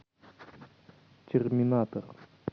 терминатор